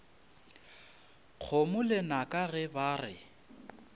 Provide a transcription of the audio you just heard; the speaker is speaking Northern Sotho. kgomo lenaka ge ba re